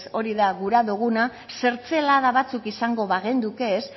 hori da nahi duguna zertzelada batzuk izango bagenduke